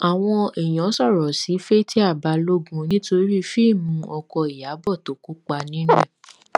àwọn èèyàn sọrọ sí fatia balógun nítorí fíìmù ọkọ ìyàbọ tó kópa nínú ẹ